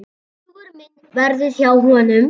Hugur minn verður hjá honum.